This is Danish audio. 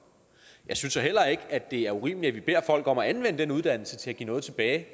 jeg synes så heller ikke at det er urimeligt at vi beder folk om at anvende den uddannelse til at give noget tilbage